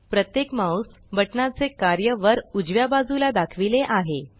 प्रत्येक mouse button ना चे कार्य वर उजव्या बाजूला दाखविले आहे